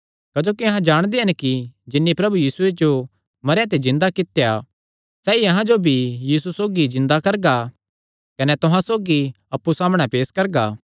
क्जोकि अहां जाणदे हन कि जिन्नी प्रभु यीशुये जो मरेयां ते जिन्दा कित्या सैई अहां जो भी यीशु सौगी जिन्दा करगा कने तुहां सौगी अप्पु सामणै पेस करगा